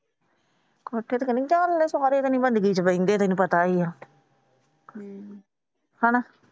ਸਾਰੇ ਤਾਂ ਨਹੀਂ ਬੰਦਗੀ ਚ ਤੈਨੂੰ ਪਤਾ ਈ ਆ ਹਣਾ।